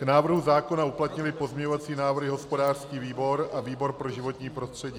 K návrhu zákona uplatnily pozměňovací návrhy hospodářský výbor a výbor pro životní prostředí.